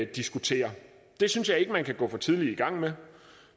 diskuterer det synes jeg ikke at man kan gå for tidligt i gang med